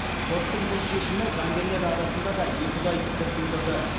соттың бұл шешімі заңгерлер арасында да екіұдай пікір тудырды